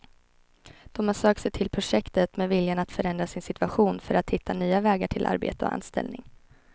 De har sökt sig till projektet med viljan att förändra sin situation för att hitta nya vägar till arbete och anställning.